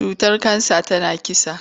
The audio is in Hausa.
Cutar kansa tana kisa.